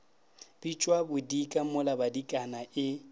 bitšwa bodika mola badikana e